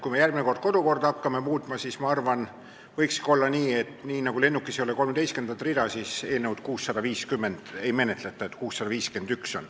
Kui me järgmine kord kodukorda hakkame muutma, siis ma arvan, et võiks teha nii, et nii nagu lennukis ei ole 13. rida, meil siin eelnõu 650 ei menetleta, et kohe tuleb eelnõu 651.